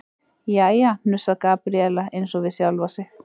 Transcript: Jæja, hnussar Gabríela eins og við sjálfa sig.